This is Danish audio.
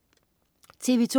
TV2: